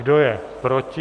Kdo je proti?